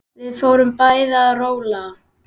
Við fórum bæði að róla.